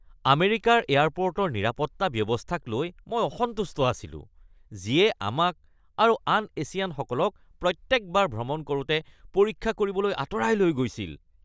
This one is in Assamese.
আমেৰিকাৰ এয়াৰপৰ্টৰ নিৰাপত্তা ব্যৱস্থাক লৈ মই অসন্তুষ্ট হৈছিলোঁ যিয়ে আমাক আৰু আন এছিয়ানসকলক প্ৰত্যেকবাৰ ভ্ৰমণ কৰোঁতে পৰীক্ষা কৰিবলৈ আঁতৰাই লৈ গৈছিল।